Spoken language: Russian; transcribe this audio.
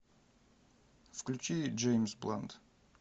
включи джеймс блант